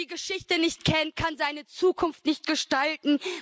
Wer die Geschichte nicht kennt, kann seine Zukunft nicht gestalten.